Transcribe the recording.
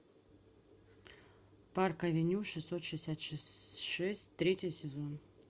парк авеню шестьсот шестьдесят шесть третий сезон